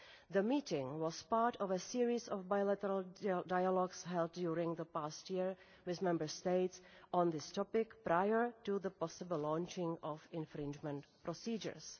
The meeting was part of a series of bilateral dialogues held during the past year with Member States on this topic prior to the possible launching of infringement procedures.